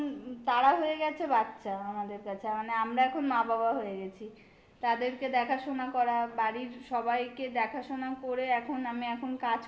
এখন তারা হয়ে গেছে বাচ্চা আমাদের কাছে. মানে আমরা এখন মা বাবা হয়ে গেছি. তাদেরকে দেখাশোনা করা, বাড়ির সবাইকে দেখাশোনা করে এখন